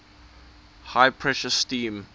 high pressure steam